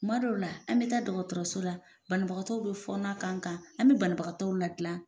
Tuma dɔw la an bɛ taa dɔgɔtɔrɔso la banabagatɔw bɛ fɔnɔ k'an kan an bɛ banabagatɔw ladilan